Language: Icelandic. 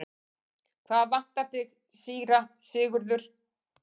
Hvað vantar þig, síra Sigurður?